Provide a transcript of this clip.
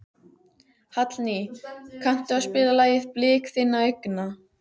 Hallný, kanntu að spila lagið „Blik þinna augna“?